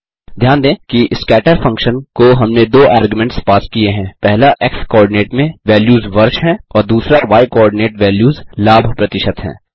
ध्यान दें कि scatter फंक्शन को हमने दो आर्ग्यूमेंट्स पास किये हैं पहला x कोआर्डिनेट में वैल्यूज़ वर्ष हैं और दूसरा y कोआर्डिनेट वैल्यूज़ लाभ प्रतिशत हैं